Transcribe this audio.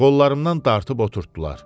Qollarımdan dartıb oturtduılar.